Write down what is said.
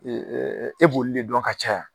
e b'olu de dɔn ka caya